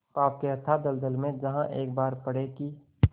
पाप के अथाह दलदल में जहाँ एक बार पड़े कि